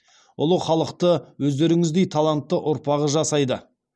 ұлы халықты өздеріңіздей талантты ұрпағы жасайды